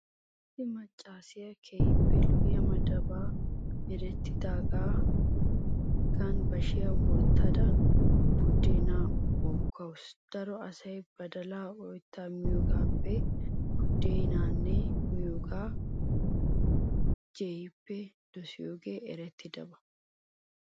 Issi maccaasiya keehippe lo'iya madafay merettidaagan bashiya wottada buddeenaa uukkawusu. Daroyoo asay badalaa oyttaa miyogaappee buddeenaa miyogaa jeehippe dosiyogee erettiyaba.